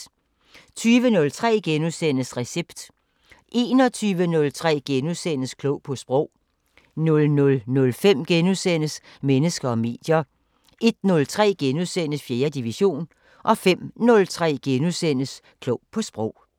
20:03: Recept * 21:03: Klog på Sprog * 00:05: Mennesker og medier * 01:03: 4. division * 05:03: Klog på Sprog *